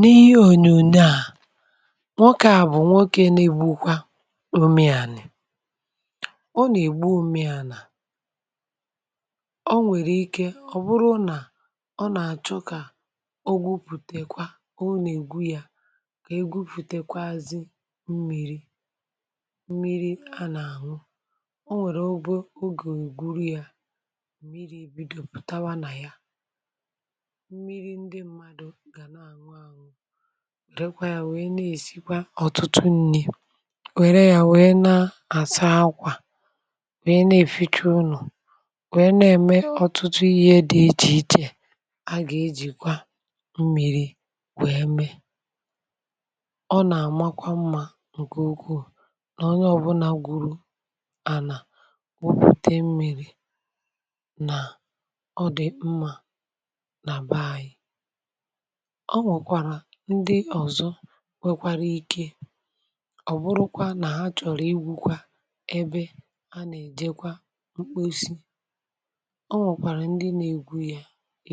N’íhé ònyònyò à, nwóke à bụ nwóke na-egbụkwá, òmìè ànà. Ọ́ nà ègbú òmìè àná, ọ̀ nweré ìké ọ̀bụ́rụ̀ na ọ̀ na-àchọ́ ka ọ̀gwụ̀pútekwà, ọ nè egwú ya, ka egwúpútákwàazí mmírí. Mmírí a na-àṅụ́, ọ̀ nweré ébé ògé egwúrú ya, mmírí e bìdò pútàrà na ya. Mmírí ndí mmadụ gà na-àṅụ́ aṅụ, wèrèkwà ya, wéé na-èsíkwà ọ̀tùtụ̀ nní, wèrè ya, wéé na-ásà ákwà, wéé na-èfichá ụ́lọ̀, wéé na-émè ọ̀tùtụ̀ íhè dị ichè ichè a gà-èjìkwá mmírí wèé mèé. Ọ̀ nà àmákwá mmá nkè úkwúù n’ọ̀nyé ọ̀bụ́ná gwùrù ána gwúpụ̀tá mmírí, na ọ̀ dị̀ m̀má nà bé ànyí. Ọ̀ nwekwàrà ndí òzọ́ nwéré ìké, ọ̀bụ́rụ̀kwà nà há chọ̀rọ̀ igwúkwà ébè a na-èjèkwà mkpòsí. Ọ̀ nwekwàrà ndí na-egwú ya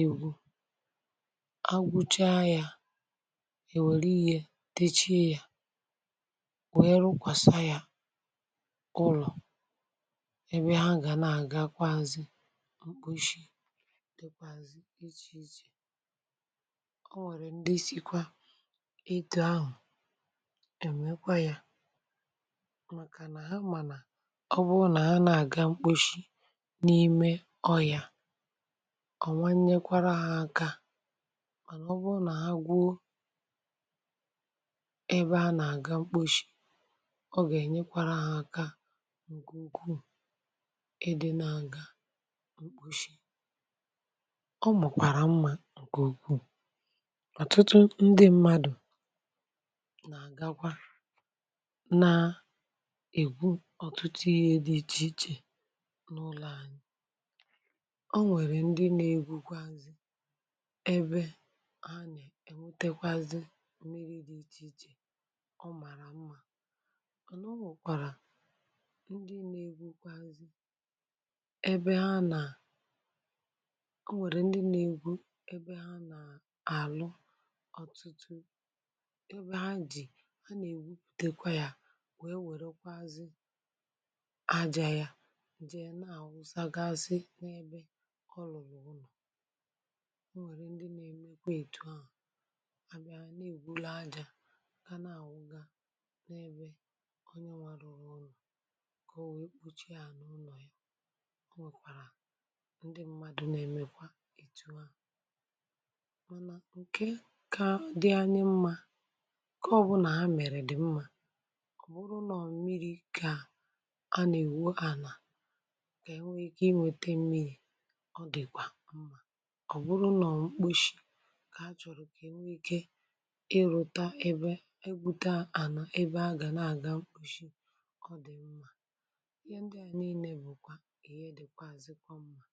egwú, àgwụ́chàá ya, èwèré íhé, èchìé yá, wèrè rukwàsá yá ụ́lò ébè hà gà na-àgàkwàázị̀ mkpòshí dịkwàázị̀ íchè íchè. Ọ̀ nweré ndí síkwà ètù áhụ̀, èmèkwà ya, màkà nà há mà nà ọ̀bụ́rụ̀ na hà na-àgà mkpòshí n’ímè ọ́hịá, ọ̀ má nyèkwárá há áká. Ma ọ̀bụ́rụ̀ na hà gwùó ébè hà na-àgà mkpòshí, ọ̀ gà-ényèkwàrà hà àkà nkè úkwúù ịdị na-àgá mkpòshí. Ọ̀ màkwàrà m̀má nkè úkwúù. Ọtụtụ ndí mmádụ̀, nà àgákwá ná ègwụ ọtụtụ ìhè dị ichè ichè n'ụlọ à. Ọ nwèrè ndị ná egwukwázị́ ébé há n'ènwétékwázị́ mmírí dị ichè ichè, Ọ màrà mmá. Mànà ónwèkwàrà ndị négwụ́kwázị́ ébé há nà, Ọ nwèrè ndị n'ègwú ébé há nà àlú ọtụtụ, ébé há jì, há nà ègwúpùtákwá yá wee wèrékwázị́ ájá ya jee n'áwụ́ságázị́ n'ébé ọ́ lụrụ úlò. Ọ nwèrè ndị ná émékwá ètù áhù. Há bịa há n'ègwúrú ájá gá ná àwúgá n'ébé ónyéwá lụrụ úlò k'owee kpúchíé àlà ụlọ yá. Ọ nwekwàrà ndí mmádụ̀ ná émékwá ètù áhụ̀. Mànà nké ká dị ányị́ mmá, nkè ọ́bụna há mèrè dị mmá. Ọ̀ bụrụ na ọ mmírí ka ánà ègwú ánà k'énwéíké ị́nwéte mmírí, ọ dìkwà mmá, ọ̀ bụrụ nà ọ mkpóshí kà áchọ̀rọ̀ kà énwé íké, iruta ébé égwụ́ta ébé há gà ná àgá mkpóshí, ọ dì mmá. Íhé ndíà níile bụ̀kwa ị́hé díkwázị́kwá mmá.